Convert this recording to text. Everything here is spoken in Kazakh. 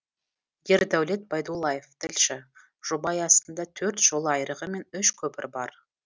ердәулет байдуллаев тілші жоба аясында төрт жол айрығы мен үш көпір бар